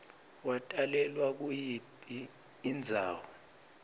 watalelwa kuyiphi indzawo